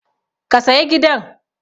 Ka saya gidan!